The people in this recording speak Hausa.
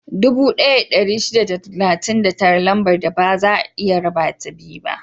Dubu ɗaya da ɗari shida da talatin da tara Lambar da baza a iya rabata biyu ne.